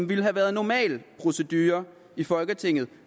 ville have været normal procedure i folketinget